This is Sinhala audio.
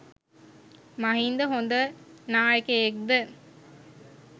මහින්ද හොඳ නායකයෙක් ද